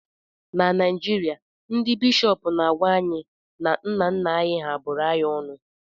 na Naijirịa, ndị bishọp na-agwa anyị na nna nna anyị hà bụrụ anyị ọnụ